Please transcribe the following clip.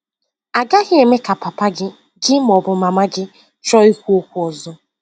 agaghị eme ka papa gị gị ma ọ bụ mama gị chọọ ikwu okwu ọzọ.